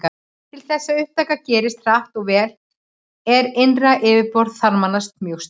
Til þess að upptaka gerist hratt og vel er innra yfirborð þarmanna mjög stórt.